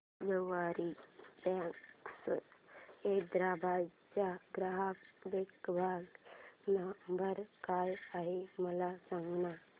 सवारी cabs Hyderabad चा ग्राहक देखभाल नंबर काय आहे मला सांगाना